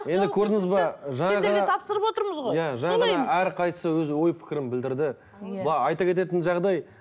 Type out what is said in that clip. енді көрдіңіз бе жаңағы тапсырып отырмыз ғой иә жаңа ғана әрқайсысы өз ой пікірін білдірді мына айта кететін жағдай